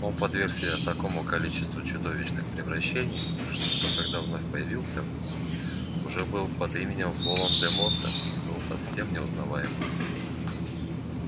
он подверг себя такому количеству чудовищных превращений что когда вновь появился уже был под именем волан-де-морта был совершенно неузнаваем